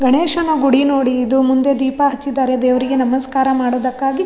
ಗಣೇಶನ ಗುಡಿ ನೋಡಿ ಇದ್ರು ಮುಂದೆ ದೀಪ ಹಚ್ಚಿದ್ದಾರೆ ದೇವ್ರಿಗೆ ನಮಸ್ಕಾರ ಮಾಡೋದಕ್ಕಾಗಿ.